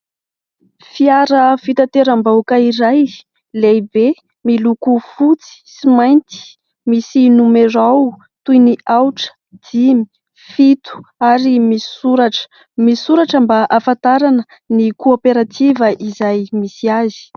Fiara fitanteram-bahoaka iray, lehibe, miloko fotsy sy mainty. Misy nomerao toy ny : aotra, dimy, fito, ary misy soratra. Misy soratra mba ahafantarana ny kooperativa izay misy azy.